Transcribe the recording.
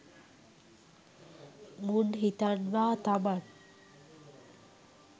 මුන් හිතන්වා තමන්